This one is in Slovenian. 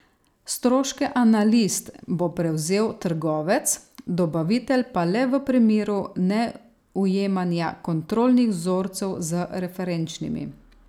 Stroške analiz bo prevzel trgovec, dobavitelj pa le v primeru neujemanja kontrolnih vzorcev z referenčnimi.